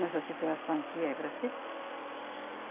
Nessa situação que é para ser?